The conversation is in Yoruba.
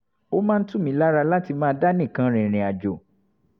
ó máa ń tù mí lára láti máa dá nìkan rìnrìn àjò